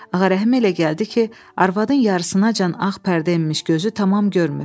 Ağa Rəhimə elə gəldi ki, arvadın yarısınacan ağ pərdə enmiş gözü tamam görmür.